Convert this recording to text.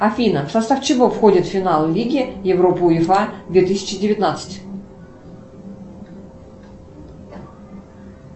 афина в состав чего входит финал лиги европы уефа две тысячи девятнадцать